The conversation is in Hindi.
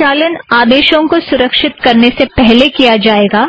अगर संचालन आदेशों को सुरक्षीत करने से पहले किया जाएगा